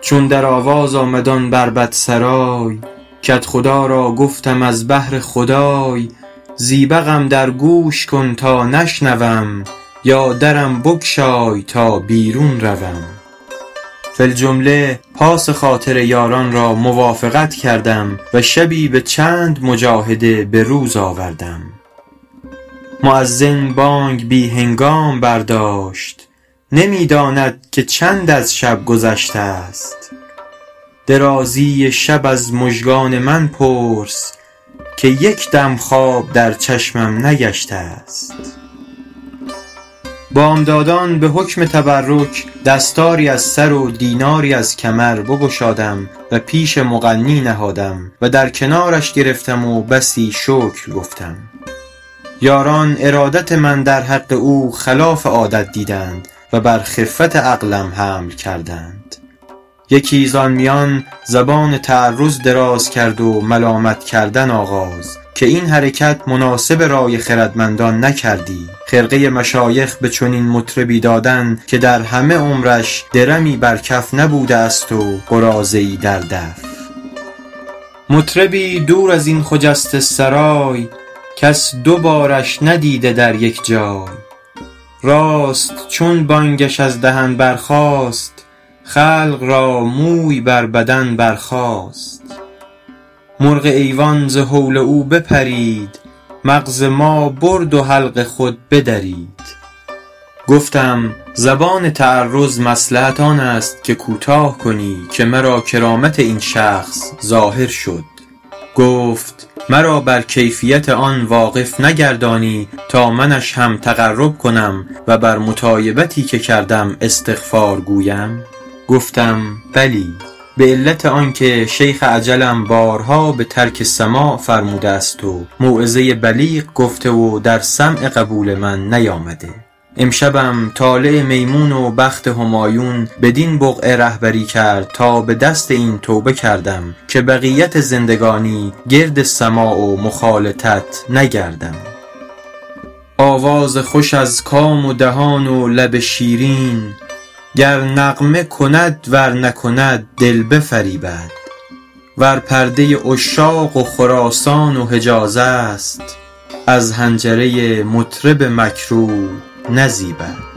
چون در آواز آمد آن بربط سرای کدخدا را گفتم از بهر خدای زیبقم در گوش کن تا نشنوم یا درم بگشای تا بیرون روم فی الجمله پاس خاطر یاران را موافقت کردم و شبی به چند مجاهده به روز آوردم مؤذن بانگ بی هنگام برداشت نمی داند که چند از شب گذشته است درازی شب از مژگان من پرس که یک دم خواب در چشمم نگشته است بامدادان به حکم تبرک دستاری از سر و دیناری از کمر بگشادم و پیش مغنی نهادم و در کنارش گرفتم و بسی شکر گفتم یاران ارادت من در حق او خلاف عادت دیدند و بر خفت عقلم حمل کردند یکی زآن میان زبان تعرض دراز کرد و ملامت کردن آغاز که این حرکت مناسب رای خردمندان نکردی خرقه مشایخ به چنین مطربی دادن که در همه عمرش درمی بر کف نبوده است و قراضه ای در دف مطربی دور از این خجسته سرای کس دو بارش ندیده در یک جای راست چون بانگش از دهن برخاست خلق را موی بر بدن برخاست مرغ ایوان ز هول او بپرید مغز ما برد و حلق خود بدرید گفتم زبان تعرض مصلحت آن است که کوتاه کنی که مرا کرامت این شخص ظاهر شد گفت مرا بر کیفیت آن واقف نگردانی تا منش هم تقرب کنم و بر مطایبتی که کردم استغفار گویم گفتم بلی به علت آن که شیخ اجلم بارها به ترک سماع فرموده است و موعظه بلیغ گفته و در سمع قبول من نیامده امشبم طالع میمون و بخت همایون بدین بقعه رهبری کرد تا به دست این توبه کردم که بقیت زندگانی گرد سماع و مخالطت نگردم آواز خوش از کام و دهان و لب شیرین گر نغمه کند ور نکند دل بفریبد ور پرده عشاق و خراسان و حجاز است از حنجره مطرب مکروه نزیبد